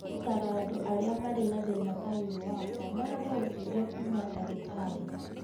Nĩ ngũtaara andũ arĩa marĩ na thĩĩna ta ũyũ wakwa marore ũteithio kuuma ndagĩtarĩ.